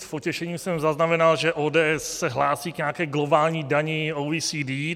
S potěšením jsem zaznamenal, že ODS se hlásí k nějaké globální dani OECD.